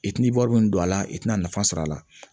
I tina wari min don a la i tina nafa sɔrɔ a la